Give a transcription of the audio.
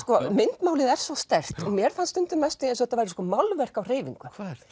myndmálið er svo sterkt og mér fannst stundum næstum því eins og þetta væri málverk á hreyfingu